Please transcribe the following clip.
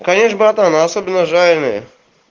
конечно братан а особенно жареные